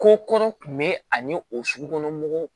Ko kɔrɔ kun bɛ ani o sugu